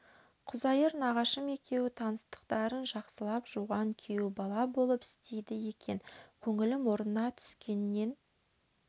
құзайыр нағашым екеуі таныстықтарын жақсылап жуған күйеу бала болып істейді екен көңілім орнына түскеннен